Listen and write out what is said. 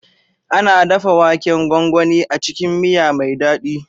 Ana dafa waken gwangwani a cikin miya mai daɗi.